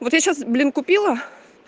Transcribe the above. вот сейчас блин купила